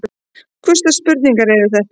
Hvurslags spurningar eru þetta?